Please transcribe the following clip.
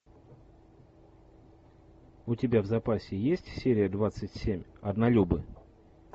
у тебя в запасе есть серия двадцать семь однолюбы